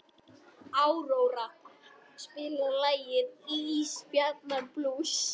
Áróra, spilaðu lagið „Ísbjarnarblús“.